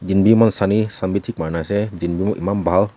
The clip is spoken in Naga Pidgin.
din bi eman sunny sun bi thik marine ase din bi eman bal.